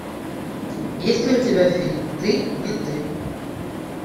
есть ли у тебя фильм ты не ты